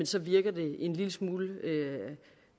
så virker det en lille smule